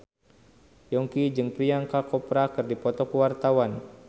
Yongki jeung Priyanka Chopra keur dipoto ku wartawan